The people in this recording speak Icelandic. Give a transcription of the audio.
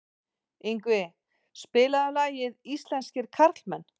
Yngvi, spilaðu lagið „Íslenskir karlmenn“.